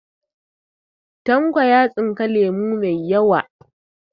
Tanko ya tsinka lemo mai yawa